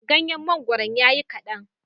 Ganyen mangoron ya yi kaɗan.